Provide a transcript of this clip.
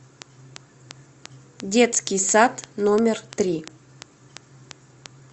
детский сад номер три